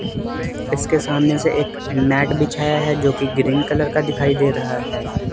इसके सामने से एक मैट बिछाया है जो कि ग्रीन कलर का दिखाई दे रहा है।